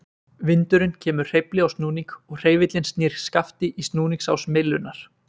Vindurinn kemur hreyfli á snúning og hreyfillinn snýr skafti í snúningsás myllunnar.